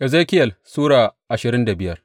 Ezekiyel Sura ashirin da biyar